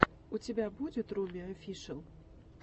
у тебя будет руми офишэл